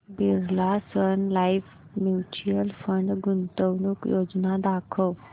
Birla Sun Life mutual fund गुंतवणूक योजना दाखव